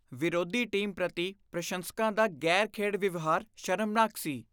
ਵਿਰੋਧੀ ਟੀਮ ਪ੍ਰਤੀ ਪ੍ਰਸ਼ੰਸਕਾਂ ਦਾ ਗ਼ੈਰ ਖੇਡ ਵਿਵਹਾਰ ਸ਼ਰਮਨਾਕ ਸੀ